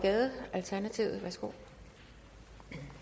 altså punkt en